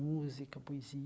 Música, poesia.